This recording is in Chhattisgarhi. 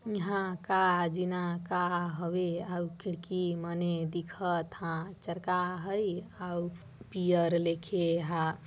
इहा का जीना का हवे अउ खिड़की मने दिखत हा चर्का हई हाउ पियर लेखे हां।